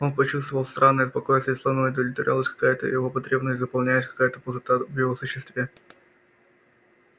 он почувствовал странное спокойствие словно удовлетворялась какая то его потребность заполнялась какая то пустота в его существе